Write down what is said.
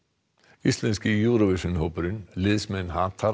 íslenski Eurovision hópurinn liðsmenn